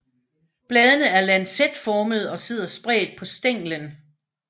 Bladene er lancetformede og sidder spredt på stænglen